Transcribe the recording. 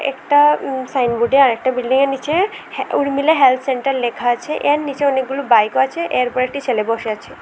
একটা সাইনবুড এ আরেকটা বিল্ডিং এর নিচে হে ঊর্মিলা হেল্থ সেন্টার লেখা আছে এর নীচে অনেকগুলি বাইক ও আছে এর উপর একটি ছেলে বসে আছে।